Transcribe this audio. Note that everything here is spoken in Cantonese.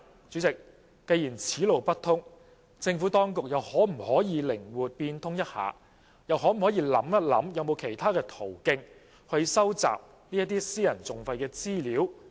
主席，既然此路不通，政府當局是否又可以靈活變通一下，想想有沒有其他途徑收集私人訟費的資料？